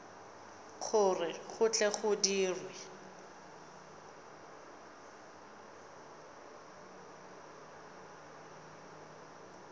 gore go tle go dirwe